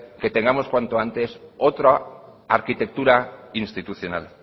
que tengamos cuanto antes otra arquitectura institucional